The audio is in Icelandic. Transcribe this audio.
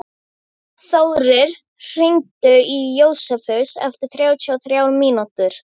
Þórir, hringdu í Jósefus eftir þrjátíu og þrjár mínútur.